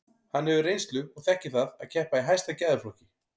Hann hefur reynslu og þekkir það að keppa í hæsta gæðaflokki.